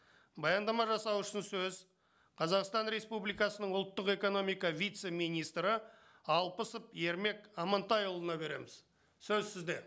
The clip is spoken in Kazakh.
баяндама жасау үшін сөз қазақстан республикасының ұлттық экономика вице министрі алпысов ермек амантайұлына береміз сөз сізде